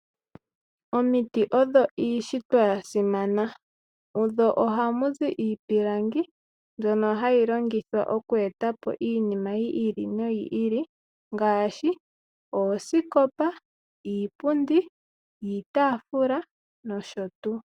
Omiti odho iishitwa ya simana odho ohamuzi iipilangi mbyono hayi longithwa oku etapo iinima yi ili noyi ili ngaashi oosikopa, iipundi, iitafula nosho tuu.